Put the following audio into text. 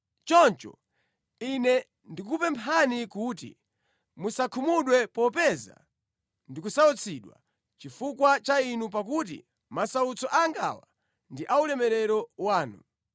Choncho, ine ndikukupemphani kuti musakhumudwe popeza ndikusautsidwa chifukwa cha inu pakuti masautso angawa ndi ulemerero wanu.